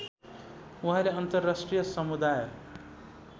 उहाँले अन्तराष्ट्रिय समुदाय